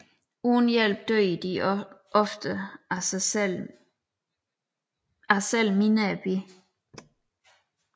Uden hjælp dør de ofte af selv mindre bid